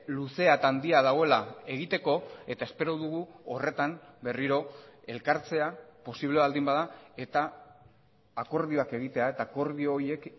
luzea eta handia dagoela egiteko eta espero dugu horretan berriro elkartzea posible baldin bada eta akordioak egitea eta akordio horiek